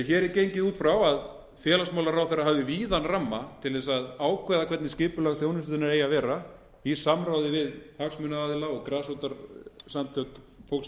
hér er gengið út frá að félagsmálaráðherra hafi víðan ramma til ákveða hvernig skipulag þjónustunnar eigi að vera í samráði við hagsmunaaðila og grasrótarsamtök fólks með fötlun